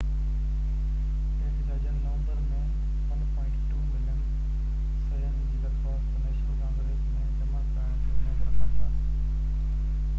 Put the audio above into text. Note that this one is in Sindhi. احتجاجين نومبر ۾ 1.2 ملين صحين جي درخواست نيشنل ڪانگريس ۾ جمع ڪرائڻ جي اميد رکن ٿا